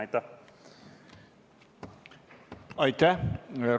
Aitäh!